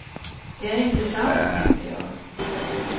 Det är inte sant, tänkte jag.